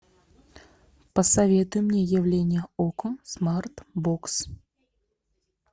посоветуй мне явление окко смартбокс